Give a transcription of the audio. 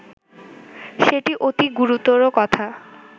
সেটি অতি গুরুতর কথা